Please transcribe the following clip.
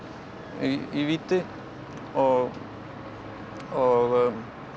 í víti og og